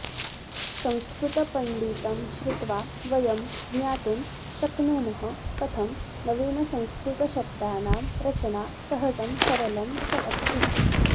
संस्कृतपण्डितं श्रुत्वा वयं ज्ञातुं शक्नुमः कथं नवीनसंस्कृतशब्दानां रचना सहजं सरलं च अस्ति